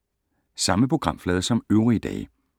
Samme programflade som øvrige dage